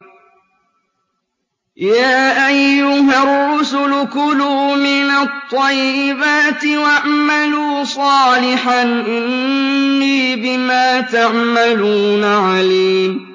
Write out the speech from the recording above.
يَا أَيُّهَا الرُّسُلُ كُلُوا مِنَ الطَّيِّبَاتِ وَاعْمَلُوا صَالِحًا ۖ إِنِّي بِمَا تَعْمَلُونَ عَلِيمٌ